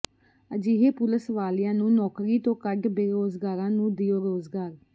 ਅਜਿਹੇ ਪੁਲਸ ਵਾਲਿਆਂ ਨੂੰ ਨੌਕਰੀ ਤੋਂ ਕੱਢ ਬੇਰੋਜ਼ਗਾਰਾਂ ਨੂੰ ਦਿਓ ਰੋਜ਼ਗਾਰ